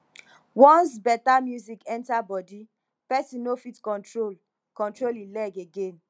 once better music enter body person no fit control control e leg again